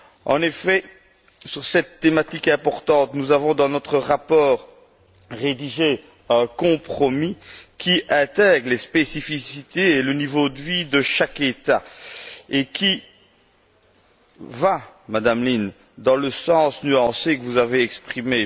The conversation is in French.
En effet, sur cette thématique importante, nous avons, dans notre rapport, rédigé un compromis qui intègre les spécificités et le niveau de vie de chaque État et qui va, Madame Lynne, dans le sens nuancé que vous avez exprimé.